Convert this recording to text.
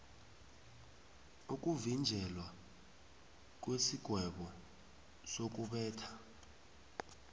ukuvinjelwa kwesigwebo sokubetha